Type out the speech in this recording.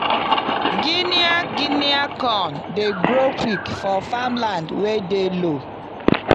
guinea guinea corn dey grow quick for farm land wey dey low.